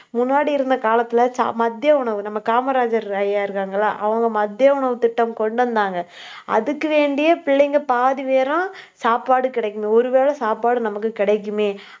முன்னாடி இருந்த காலத்துல, சாப்~ மதிய உணவு, நம்ம காமராஜர் ஐயா இருக்காங்க இல்ல அவங்க மதிய உணவுத் திட்டம் கொண்டு வந்தாங்க. அதுக்கு வேண்டியே பிள்ளைங்க பாதி பேரும் சாப்பாடு கிடைக்கணும். ஒருவேளை சாப்பாடு நமக்கு கிடைக்குமே